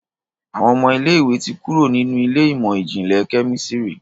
Àwọn ọmọ ilé ìwé ti kúrò nínú Ilé ìmọ̀n-jinlẹ Kẹ́mísìrì.